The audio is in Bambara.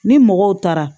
Ni mɔgɔw taara